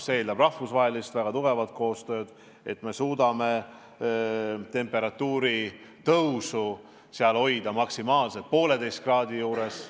Selleks läheb vaja väga tugevat rahvusvahelist koostööd, et me suudaksime temperatuuri tõusu hoida maksimaalselt 1,5 kraadi juures.